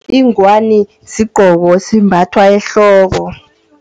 Inghwani, sigqoko esimbathwa ehloko.